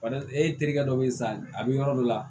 e terikɛ dɔ bɛ yen sa a bɛ yɔrɔ dɔ la